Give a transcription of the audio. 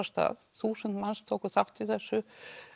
stað þúsund manns tóku þátt í þessu